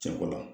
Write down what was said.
Cɛ ko la